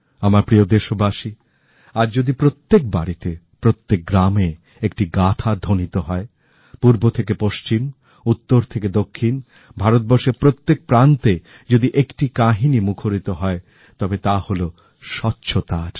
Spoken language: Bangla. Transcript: আমার প্রিয় দেশবাসী আজ যদি প্রত্যেক বাড়িতে প্রত্যেক গ্রামে একটি গাথা ধ্বনিত হয় পূর্ব থেকে পশ্চিম উত্তর থেকে দক্ষিণ ভারতবর্ষের প্রত্যেক প্রান্তে যদি একটি কাহিনী মুখরিত হয় তবে তা হল স্বচ্ছতার